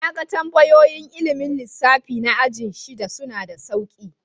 Na gan tambayoyin ilmin lissafi na ajin shida. Suna da sauƙi.